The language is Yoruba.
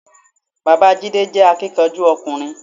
Bàbáa Jídé jé akíkanjú ọkùnrin